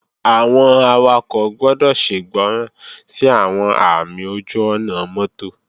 Àwọn awakọ̀ gbọ́dọ̀ ṣègbọràn sí àwọn ààmì ojú-ọ̀nà mọ́tò